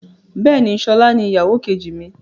Bẹ́ẹ̀ni, sọlá ni ìyàwó kejì mi.